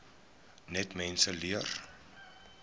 net mense leer